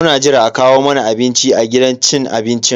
Muna jiran a kawo mana abinci a gidan cin abincin.